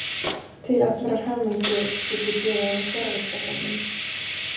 Til allrar hamingju get ég gefið honum fjarvistarsönnun.